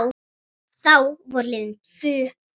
Þá voru liðin tvö ár.